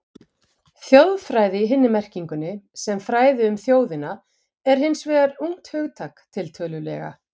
Þjóðfræði í hinni merkingunni, sem fræði um þjóðina, er hins vegar ungt hugtak, tiltölulega.